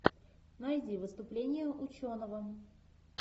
найди выступление ученого